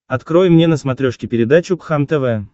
открой мне на смотрешке передачу кхлм тв